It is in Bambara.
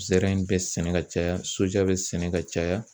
Zɛrɛn bɛ sɛnɛ ka caya bɛ sɛnɛ ka caya.